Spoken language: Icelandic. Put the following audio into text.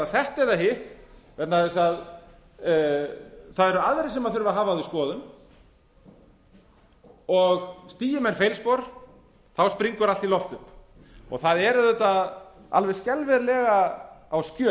þetta eða hitt vegna þess að það eru aðrir sem þurfa að hafa á því skoðun og stigi menn feilspor springur allt í loft upp það er auðvitað alveg skelfilega á